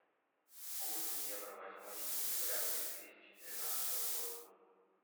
курс евро восьмое сентября две тысячи тринадцатого года